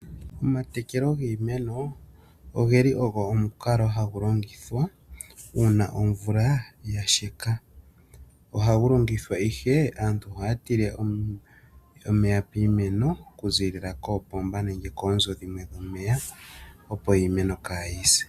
Omatekelo giimeno oge li ogo omukalo hagu longithwa uuna omvula yasheka , aantu ohaya tile omeya piimeno okuza koopomba nenge koonzo dhimwe dhomeya opo iimeno kaayi se.